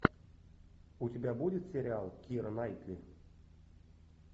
у тебя будет сериал кира найтли